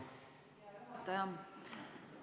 Hea ettekandja!